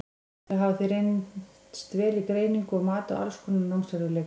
Þau hafa því reynst vel í greiningu og mati á alls konar námserfiðleikum.